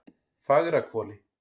Fagrahvoli